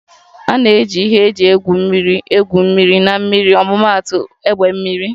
A na-eji ihe eji egwuri egwu mmiri na mmiri ọmụmaatụ egbe mmiri